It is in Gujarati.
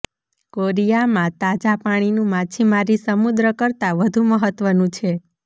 કોરિયામાં તાજા પાણીનું માછીમારી સમુદ્ર કરતાં વધુ મહત્વનું છે